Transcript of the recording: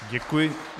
Děkuji.